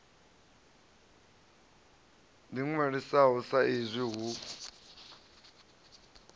ḓi ṅwalisaho sa izwi hu